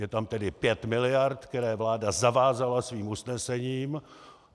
Je tam tedy pět miliard, které vláda zavázala svým usnesením.